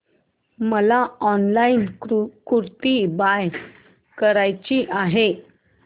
मला ऑनलाइन कुर्ती बाय करायची आहे